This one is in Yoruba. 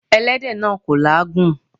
Ẹlẹ́dẹ̀ náà kò làágùn.